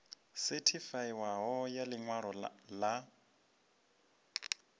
sethifaiwaho ya ḽi ṅwalo ḽa